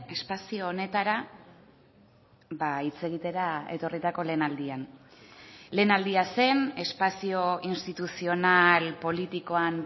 espazio honetara hitz egitera etorritako lehen aldian lehen aldia zen espazio instituzional politikoan